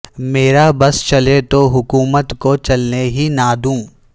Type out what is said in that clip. میرا بس چلے تو حکومت کو چلنے ہی نہ دوں